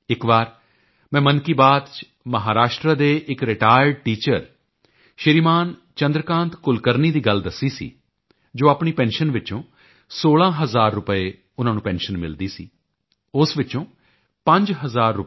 ਇੱਕ ਵਾਰ ਮੈਂ ਮਨ ਕੀ ਬਾਤ ਚ ਮਹਾਰਾਸ਼ਟਰ ਦੇ ਇੱਕ ਰਿਟਾਇਰਡ ਟੀਚਰ ਸ਼੍ਰੀਮਾਨ ਚੰਦਰ ਕਾਂਤ ਕੁਲਕਰਨੀ ਦੀ ਗੱਲ ਦੱਸੀ ਸੀ ਜੋ ਆਪਣੀ ਪੈਨਸ਼ਨ ਵਿੱਚੋਂ 16 ਹਜ਼ਾਰ ਰੁਪਏ ਪੈਨਸ਼ਨ ਮਿਲਦੀ ਸੀ ਉਸ ਵਿੱਚੋਂ ਪੰਜ ਹਜ਼ਾਰ ਰੁ